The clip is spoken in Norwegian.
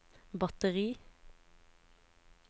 batteri